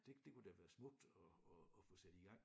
Det det kunne da være smukt at at at få sat i gang